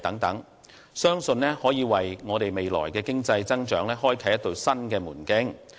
我相信，憑着這些優勢，我們定能在未來為經濟增長開闢新門徑。